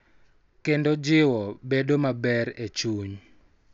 Kendo jiwo bedo maber e chuny.